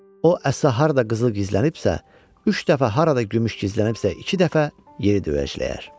O əsa harda qızıl gizlənibsə, üç dəfə, harada gümüş gizlənibsə, iki dəfə yeri döyəcləyər.”